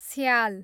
स्याल